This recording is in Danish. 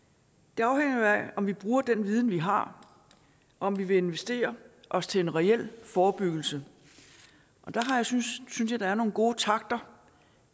det afhænger jo af om vi bruger den viden vi har om vi vil investere os til en reel forebyggelse og der synes jeg der er nogle gode takter